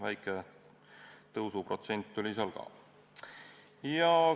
Väike tõusuprotsent on seal küll ka.